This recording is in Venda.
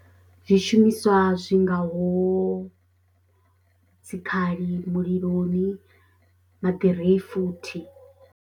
Zwishumiswa zwi ngaho dzikhali muliloni na ḓirifuthi.